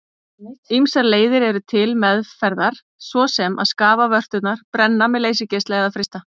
Ýmsar leiðir eru til meðferðar svo sem að skafa vörturnar, brenna með leysigeisla eða frysta.